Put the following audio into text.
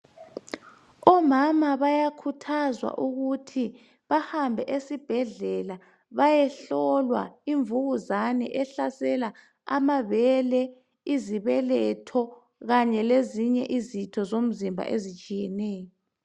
Omama bayakhuthazwa ukuthi bahambe esibhedleka. Bayehlolwa imvukuzane ehlasela amabele, izibeletho. Kanye lezinye izitho zomzimba ezitshiyeneyo.